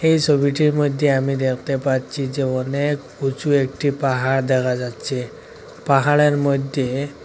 এই ছবিটির মইধ্যে আমি দেখতে পাচ্ছি যে অনেক উঁচু একটি পাহাড় দেখা যাচ্ছে পাহাড়ের মইধ্যে --